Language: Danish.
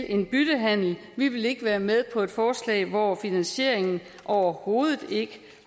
en byttehandel vi vil ikke være med på et forslag hvor finansieringen overhovedet ikke